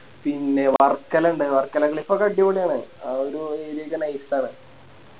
പിന്നെ വർക്കല ഇണ്ട് വർക്കല Clif ഒക്കെ അടിപൊളിയാണ് ആ ഒരു ഒരു Nice ആണ്